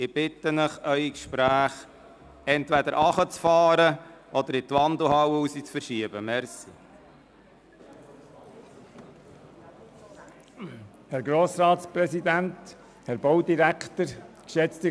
Ich bitte Sie, Ihre Gesprächslautstärke entweder herunterzufahren oder hinaus in die Wandelhalle zu gehen.